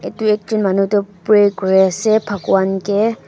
tu ekjun manu tuh pray kuri ase bhakwan keh.